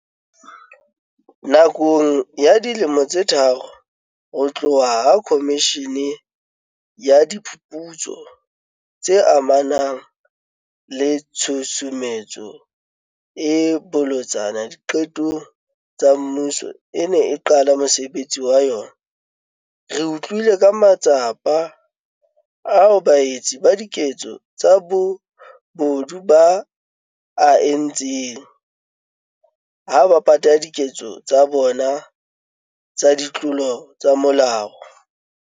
Nakong ya dilemo tse tharo ho tloha ha Khomishene ya Diphuputso tse amanang le Tshusumetso e Bolotsana Diqetong tsa Mmuso e ne e qala mosebetsi wa yona, re utlwile ka matsapa ao baetsi ba diketso tsa bobodu ba a entseng ha ba pata diketso tsa bona tsa ditlolo tsa molao.